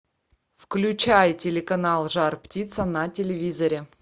включай телеканал жар птица на телевизоре